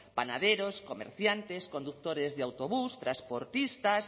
panaderos comerciantes conductores de autobús transportistas